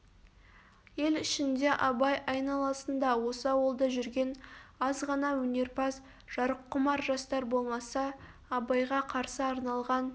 ел ішінде абай айналасында осы ауылда жүрген аз ғана өнерпаз жарыққұмар жастар болмаса абайға қарсы арналған